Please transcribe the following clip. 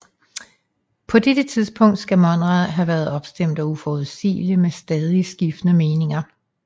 På dette tidspunkt skal Monrad have været opstemt og uforudsigelig med stadig skiftende meninger